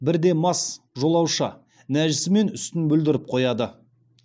бірде мас жолаушы нәжісімен үстін бүлдіріп қояды